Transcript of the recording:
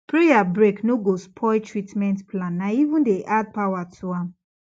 prayer break no go spoil treatment plan na even dey add power to am